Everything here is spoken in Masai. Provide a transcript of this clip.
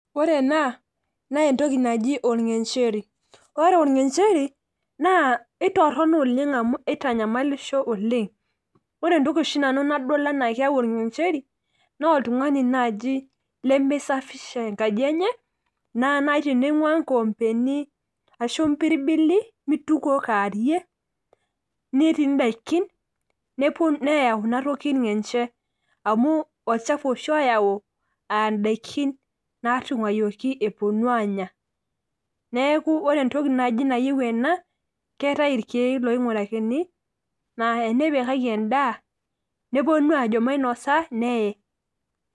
ore ena naa entoki naji olngencheri. ore olngencheri, naa itorono oleng amu itanyamalisho oleng. ore entoki oshi nanu nadol anaa keyau orngencheri, naa oltungani naaji lemisafisha enkaji enye, naa naaji teningua nkoompeni, ashu mpirbili, mitukuo kaarie, netii daikin, neyau ina toki irngenche amu, olchafu oshi oyau aa daikin naatunguayioki epuonu aanya. neeku ore entoki naaji nayieu ena. keetae irkeek loingurakini. naa enipikaki edaa, nepuonu ajo mainosa neye.